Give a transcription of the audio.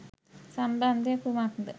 සම්බන්ධය කුමක්ද?